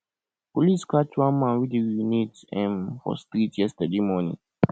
police catch one man wey dey urinate um for street yesterday morning